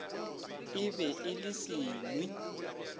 e be e le senwi